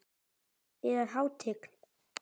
Yðar Hátign!